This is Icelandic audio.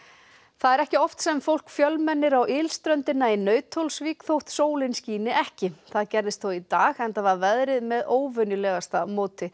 það er ekki oft sem fólk fjölmennir á ylströndina í Nauthólsvík þótt sólin skíni ekki það gerðist þó í dag enda var veðrið með óvenjulegasta móti